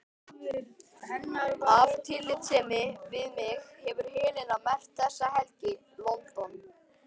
Af tillitssemi við mig hefur Helena merkt þessa helgi: London